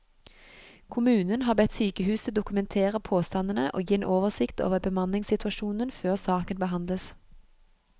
Kommunen har bedt sykehuset dokumentere påstandene og gi en oversikt over bemanningssituasjonen før saken behandles.